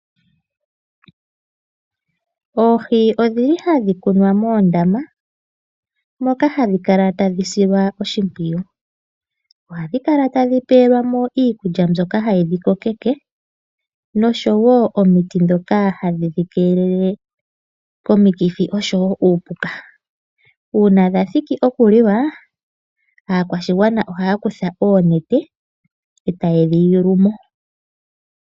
Oohi odhili hadhi munwa moondama moka hadhi kala tadhi silwa oshimpwiyu. Ohadhi kala tadhi pelwamo iikulya mbyoka hayi dhi kokeke nosho woo omuti mboka ha wu dhi keelele komikithi nuu puka. Uuna dha thiki okuliwa , aakwa shigwana ohaya kutha oonete etaye dhi ilemo.